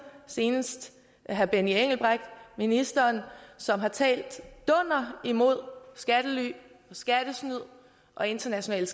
senest herre benny engelbrecht ministeren som har talt dunder mod skattely og skattesnyd og international